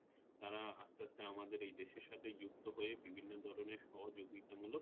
তারা আস্তে আস্তে আমাদের এই দেশের সাথে যুক্ত হয়ে বিভিন্ন ধরনের সহযোগিতা মুলক;